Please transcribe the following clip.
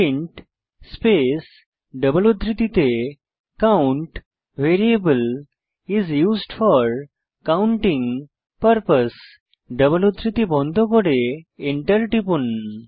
print space double উদ্ধৃতিতে count variable is used for counting purpose double উদ্ধৃতি বন্ধ করে এন্টার টিপুন